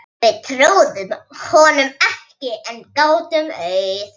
Við trúðum honum ekki en gátum auð